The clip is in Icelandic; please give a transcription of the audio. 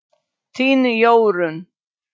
Þín Jórunn.